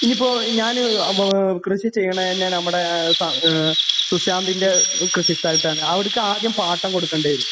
ഇനീപ്പോ ഇ ഞാന് ആഹ് കൃഷി ചെയ്യണേ നമ്മടെ ഏഹ് സുശാന്തിൻ്റെ കൃഷിസ്ഥലത്താണ് അവടുക്ക് ആദ്യം പാട്ടം കൊടുക്കണ്ടേന്.